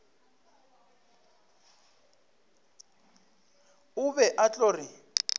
o be a tlo re